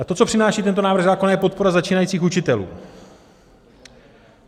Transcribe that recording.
A to, co přináší tento návrh zákona, je podpora začínajících učitelů.